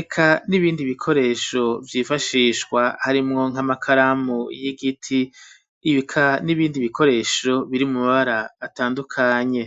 eka n'ibindi bikoresho vyifashishwa, harimwo nk'amakaramu y'igiti, eka n'ibindi bikoresho biri mu mabara atandukanye.